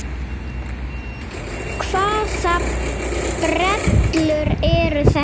Hvaða brellur eru þetta?